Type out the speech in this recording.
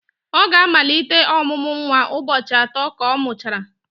ọ ga-amalite ọmụmụ nwa ụbọchị atọ ka ọ mụchara